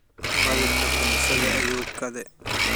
Baadhirika kanisadha ayuu kaadhe.